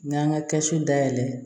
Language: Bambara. N y'an ka kɛsu dayɛlɛ